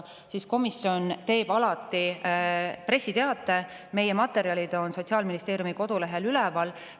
komisjon teeb alati pressiteate, meie materjalid on Sotsiaalministeeriumi kodulehel üleval.